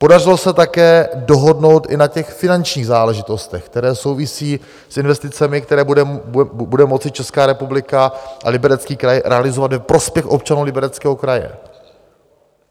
Podařilo se také dohodnout i na těch finančních záležitostech, které souvisí s investicemi, které bude moci Česká republika a Liberecký kraj realizovat ve prospěch občanů Libereckého kraje.